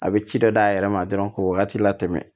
A bɛ ci dɔ d'a yɛrɛ ma dɔrɔn k'o wagati latɛmɛ